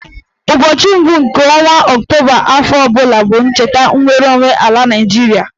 Ụbọchị mbụ nke ọnwa Ọktoba afọ ọbụla bụ ncheta nnwereonwe ala Naịjiria